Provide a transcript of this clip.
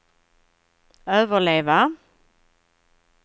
överleva